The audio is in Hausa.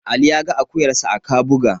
Ali ya ga akuyarsa a Kabuga.